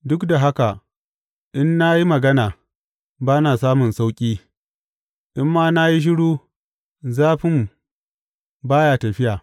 Duk da haka in na yi magana, ba na samun sauƙi; in ma na yi shiru zafin ba ya tafiya.